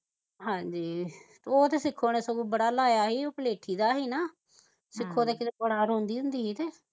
ਹਾਜੀ ਉਹ ਤੇ ਸਿਕੋ ਨੇ ਬੜਾ ਲਾਇਆ ਸੀ ਉਹ ਪਲੇਠੀ ਦਾ ਹੀ ਨਾ ਸਿਕੋ ਨੇ ਬੜਾ ਰੋਂਦੀ ਹੁੰਦੀ ਸੀ